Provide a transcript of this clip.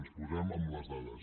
ens posem amb les dades